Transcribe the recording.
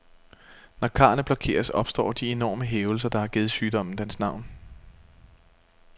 Når karrene blokeres, opstår de enorme hævelser, der har givet sygdommen dens navn.